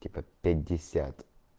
типа пятьдесят